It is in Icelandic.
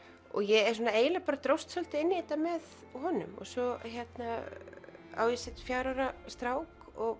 ég eiginlega dróst svolítið inn í þetta með honum svo á ég fjögurra ára strák og